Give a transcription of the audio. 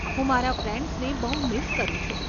હું મારા ફ્રેન્ડ્સને બહુ મિસ કરું છું.